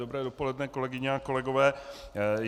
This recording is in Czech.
Dobré dopoledne, kolegyně a kolegové.